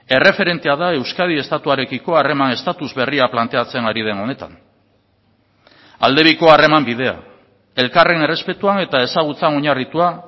erreferentea da euskadi estatuarekiko harreman estatus berria planteatzen ari den honetan aldebiko harreman bidea elkarren errespetuan eta ezagutzan oinarritua